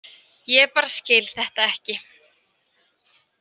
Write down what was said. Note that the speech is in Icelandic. Ég bara skil þetta ekki.